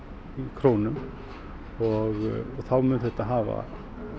krónum og þá mun þetta hafa